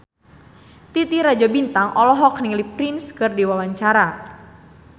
Titi Rajo Bintang olohok ningali Prince keur diwawancara